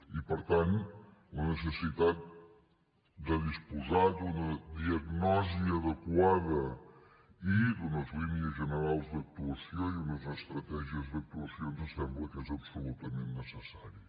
i per tant la necessitat de disposar d’una diagnosi adequada i d’unes línies generals d’actuació i unes estratègies d’actuació ens sembla que és absolutament necessari